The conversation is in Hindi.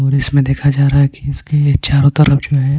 और इसमें देखा जा रहा कि इसके चारो तरफ जो है--